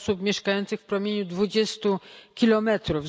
osób mieszkających w promieniu 20 kilometrów.